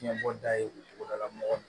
Fiɲɛbɔda ye o cogo la mɔgɔ